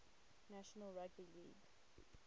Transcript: national rugby league